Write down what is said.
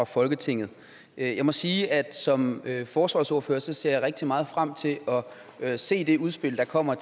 folketinget jeg må sige at som forsvarsordfører ser rigtig meget frem til at se det udspil der kommer